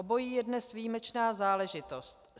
Obojí je dnes výjimečná záležitost.